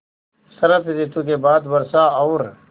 शरत ॠतु के बाद वर्षा और